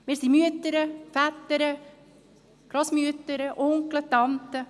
Wir sind Mütter, Väter, Grossmütter, Onkel, Tanten.